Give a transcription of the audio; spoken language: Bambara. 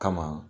Kama